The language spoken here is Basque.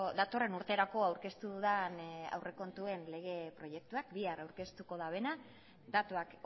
datorren urterako aurkeztu dudan lege proiektuak bihar aurkeztuko duena datuak